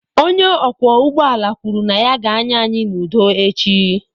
Onye ọkwọ ụgbọala kwuru na ya ga-anya anyị n'udo echi.